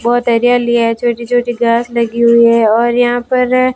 बहुत हरियाली है छोटी छोटी घास लगी हुई है और यहां पर--